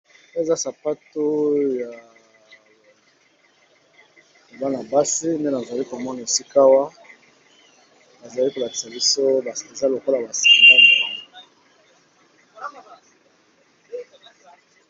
Oyo, Eza Sapato ya bana basi nde nazali komona esika awa! bazali kolakisa biso eza lokola basinga.